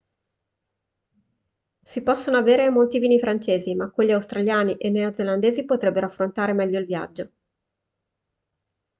si possono avere molti vini francesi ma quelli australiani e neozelandesi potrebbero affrontare meglio il viaggio